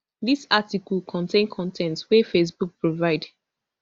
dis article contain con ten t wey facebook provide